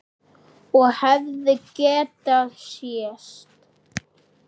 Og hefði getað sést.